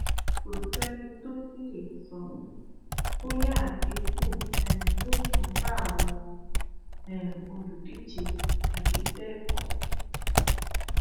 kò sẹni tó tí ì lè sọ bóyá àdínkù um yóò tún bá àwọn um olùdíje tàbí bẹẹ kọ